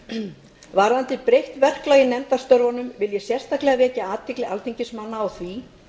að varðandi breytt verklag í nefndastörfum vil ég sérstaklega vekja athygli alþingismanna á því